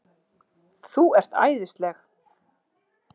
ÞÚ ERT ÆÐISLEG!